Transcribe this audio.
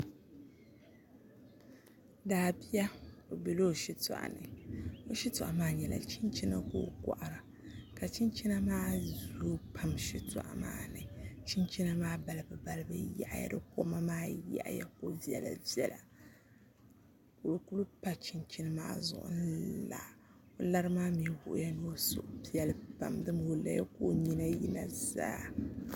Daabia o biɛla o shitoɣu ni o shitoɣu maa nyɛla chinchina ka o kohara ka chinchina maa zooi pam shitoɣu maa ni chinchina maa balibu balibu yaɣaya di koma maa yaɣaya ko viɛla viɛla ka o kuli pa chinchina maa zuɣu n la o lari maa mii wuhuya ni o suhu piɛli pam dama o laya ka o nyina yina zaa